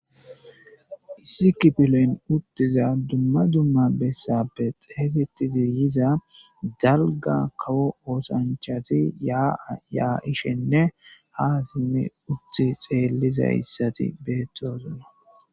issi kipilo7yn uttiza dumma dumma bessappe xegetizi yiza dalga kawo oosanchati yaa ishenne ha simmi uti xeelliza issati beettosunna